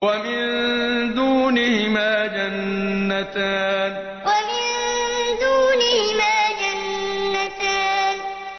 وَمِن دُونِهِمَا جَنَّتَانِ وَمِن دُونِهِمَا جَنَّتَانِ